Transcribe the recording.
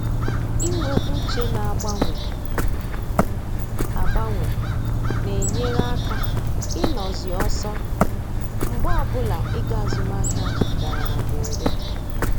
Inwe uche na-agbanwe agbanwe na-enyere aka ịnọ zi ọsọ mgbe ọbụla ego azụmahịa dara na mberede